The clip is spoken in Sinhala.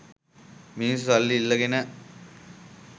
මිනිස්‌සු සල්ලි ඉල්ලගෙන